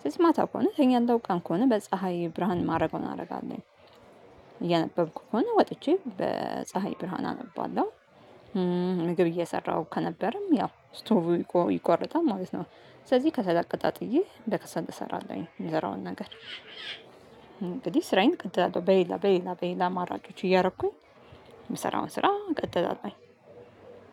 ስለዚህ ማታ ከሆነ እተኛለሁ ቀን ከሆነ በፀሀይ ብርሃን ማደረገውን አደርጋለሁ። እየነበብኩ ከሆነ ወጥቼ በፀሀይ ብርሃን አነባለሁ። ምግብ እየሰራሁ ከነበረም ያው ስቶቭ ይቋረጣል ማለት ነው። ስለዚህ ከሰል አቀጣጥዬ በከሰል እሰራለሁኝ የምሰራውን ነገር እንግዲህ ስራዬን እቀጥላለሁ በሌላ በሌላ በሌላ አማራጮች እያረኩኝ። የምሰራውን ስራ እቀጥላለሁኝ